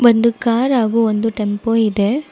ಒಂದು ಕಾರ್ ಹಾಗು ಒಂದು ಟೆಂಪೋ ಇದೆ.